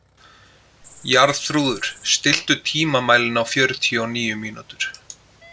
Jarþrúður, stilltu tímamælinn á fjörutíu og níu mínútur.